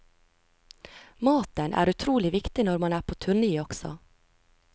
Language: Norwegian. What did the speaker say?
Maten er utrolig viktig når man er på turné også.